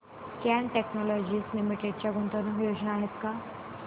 cat technologies limited च्या गुंतवणूक योजना आहेत का